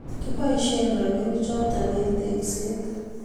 kiboisien robinichoto eng tekseet